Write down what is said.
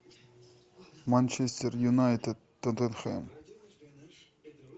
манчестер юнайтед тоттенхэм